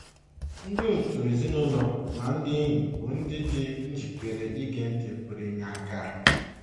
Ndị òtù ezinụlọ na ndị enyi bụ́ ndị dị njikere ige ntị pụrụ inye aka.